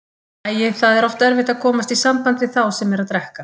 Æi, það er oft erfitt að komast í samband við þá sem eru að drekka.